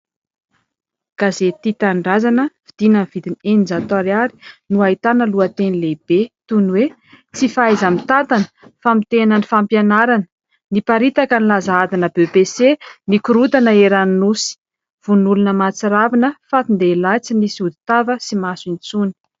Gazety Tia Tanindrazana vidiana ny vidiny eninjato ariary no ahitana lohateny lehibe toy ny hoe tsy fahaiza-mitantana, famotehana ny fampianarana, niparitaka ny laza adina "BEPC" nikorontana eran'ny nosy, vono olona mahatsiravina: fatin-dehilahy tsy nisy hoditava sy maso intsony.